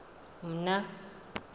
mna